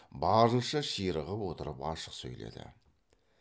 барынша ширығып отырып ашық сөйледі